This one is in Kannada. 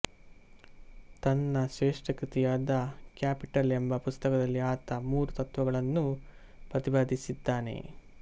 ತನ್ನ ಶ್ರೇಷ್ಠಕೃತಿಯಾದ ಕ್ಯಾಪಿಟಲ್ ಎಂಬ ಪುಸ್ತಕದಲ್ಲಿ ಆತ ಮೂರು ತತ್ತ್ವಗಳನ್ನೂ ಪ್ರತಿಪಾದಿಸಿದ್ದಾನೆ